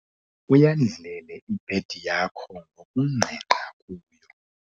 Uyandlele ibhedi yakho ngoku ngqengqa kuyo